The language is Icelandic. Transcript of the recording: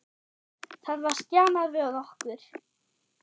Það var stjanað við okkur.